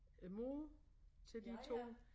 Æ mor til de 2